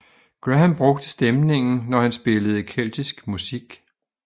Graham brugte stemningen når han spillede keltisk musik